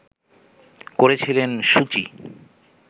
করেছিলেন সু চি